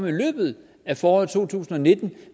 i løbet af foråret to tusind og nitten